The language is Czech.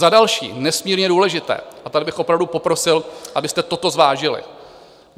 Za další, nesmírně důležité, a tady bych opravdu poprosil, abyste toto zvážili.